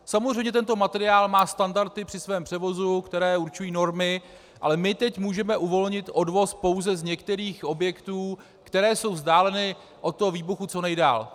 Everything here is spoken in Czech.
Samozřejmě tento materiál má standardy při svém převozu, které určují normy, ale my teď můžeme uvolnit odvoz pouze z některých objektů, které jsou vzdáleny od toho výbuchu co nejdál.